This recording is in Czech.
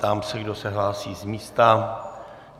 Ptám se, kdo se hlásí z místa.